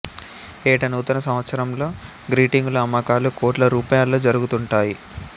ఏటా నూతన సంవత్సరంలో గ్రీటింగుల అమ్మకాలు కోట్ల రూపాయల్లో జరుగుతుంటాయి